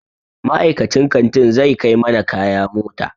Ma'aikacin kantin zai kai mana kaya mota.